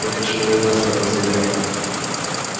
вот почему война сообразил я